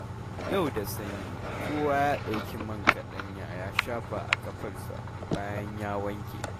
Yau da sanyi kowa ya ɗauki man kaɗanya ya shafa a ƙafarsa bayan ya wanke.